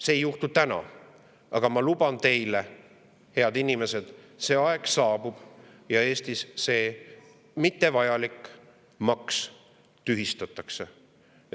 See ei juhtu täna, aga ma luban teile, head inimesed, et see aeg saabub ja Eestis see mittevajalik maks tühistatakse.